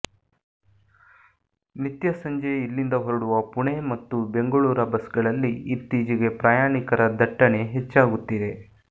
ನಿತ್ಯ ಸಂಜೆ ಇಲ್ಲಿಂದ ಹೊರಡುವ ಪುಣೆ ಮತ್ತು ಬೆಂಗಳೂರ ಬಸ್ಗಳಲ್ಲಿ ಇತ್ತೀಚೆಗೆ ಪ್ರಯಾಣಿಕರ ದಟ್ಟಣೆ ಹೆಚ್ಚಾಗುತ್ತಿದೆ